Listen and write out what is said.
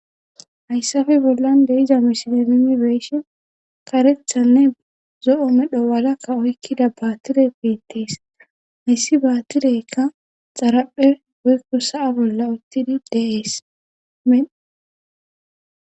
hayssafe bollan deiza mishilemimi beeshe karethanne zo7o medho walakka oykkida baatire piittees hayssi baatileykka xaraphe woykko sa7a bolla uttidi deeese